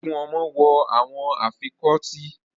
Twenty cildren are wearing the earrings